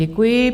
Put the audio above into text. Děkuji.